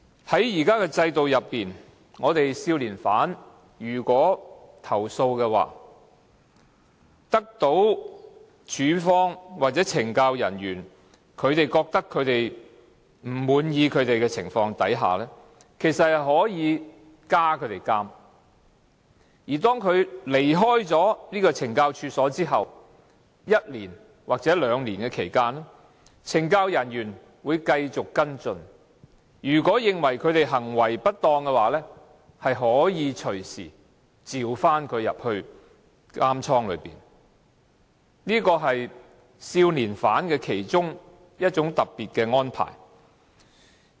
在現行制度下，如果少年犯作出投訴，令署方或懲教人員不滿意的情況下，其實可以要他們加監；而當他們離開懲教所後一年或兩年期間，懲教人員會繼續跟進，如果認為他們行為不當，可以隨時召他們回監倉，這是少年犯其中一種特別的安排。